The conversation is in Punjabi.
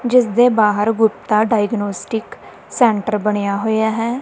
ਜਿਸ ਦੇ ਬਾਹਰ ਗੁਪਤਾ ਡਾਇਗਨੋਸਟਿਕ ਸੈਂਟਰ ਬਣਿਆ ਹੋਇਆ ਹੈ।